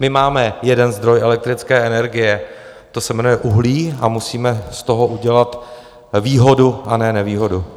My máme jeden zdroj elektrické energie, to se jmenuje uhlí a musíme z toho udělat výhodu a ne nevýhodu.